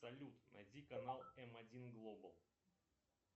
салют найди канал м один глобал